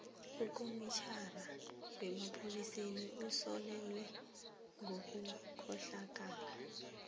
ukomitjhinara wamapholisa usolelwe ngobukhohlakali